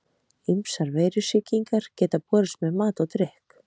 Ýmsar veirusýkingar geta borist með mat og drykk.